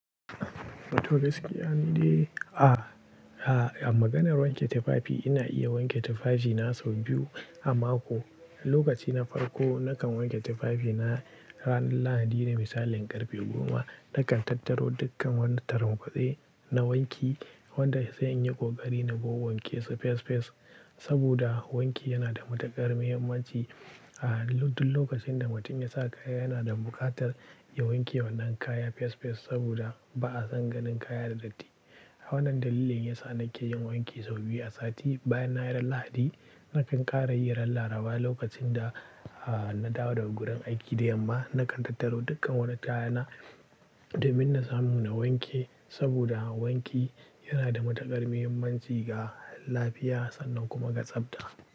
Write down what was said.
Toh gaskiya, ni dai a, a, a maganar wanke tufafi ina iya wanke tufafi na sau biyu a mako. Lokaci na farko nakan wanke tufafi na ranar Lahadi da misalin ƙarfe goma. Nakan tattaro dukkan wani taramkuɗe na wanki wanda sai in yi ƙoƙari na. Wanke su fes fes saboda wanki yana da matuƙar muhimmanci. A duk lokacin da mutum ya sa kaya yana da buƙatar ya wanke wannan kaya fes fes saboda ba a san ganin kaya da datti. Wannan dalilin yasa nake yin wanki sau biyu a sati. Bayan na yi ran Lahadi, nakan ƙara yi ran Laraba lokacin da, a, na dawo daga gurin aiki da yamma nakan tattaro dukkan wani kaya na domin na samu na wanke saboda wanki yana da matuƙar mahimmanci ga lafiya sannan kuma ga tsafta.